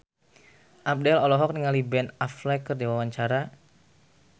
Abdel olohok ningali Ben Affleck keur diwawancara